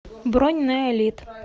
бронь нэолит